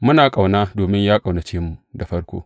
Muna ƙauna, domin ya ƙaunace mu da farko.